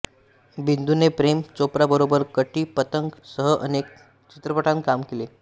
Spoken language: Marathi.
बिंदूने प्रेम चोप्राबरोबर कटी पतंग सह अनेक चित्रपटांत काम केले